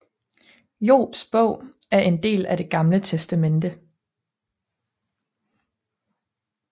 Jobs Bog er en del af Det Gamle Testamente